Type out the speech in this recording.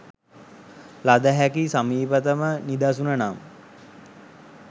ලද හැකි සමීපතම නිදසුන නම්